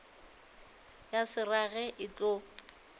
ya se rage e tlo